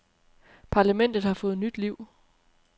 Parlamentet har fået nyt liv.